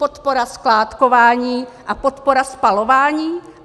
Podpora skládkování a podpora spalování?